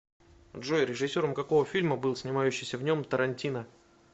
джой режиссером какого фильма был снимающиися в нем тарантино